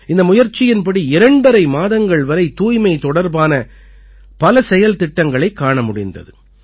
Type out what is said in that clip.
இந்த முயற்சியின்படி இரண்டரை மாதங்கள் வரை தூய்மை தொடர்பான பல செயல்திட்டங்களைக் காண முடிந்தது